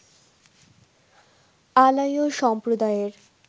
আলাইও সম্প্রদায়ের